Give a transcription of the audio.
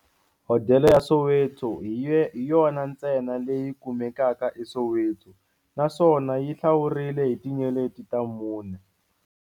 Hodela ya Soweto hi yona ntsena leyi kumekaka eSoweto, naswona yi hlawurile hi tinyeleti ta mune.